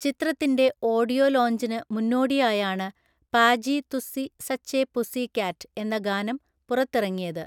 ചിത്രത്തിന്റെ ഓഡിയോ ലോഞ്ചിന് മുന്നോടിയായാണ് Paaji Tussi such a pussy cat എന്ന ഗാനം പുറത്തിറങ്ങിയത്.